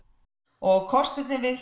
og kosturinn við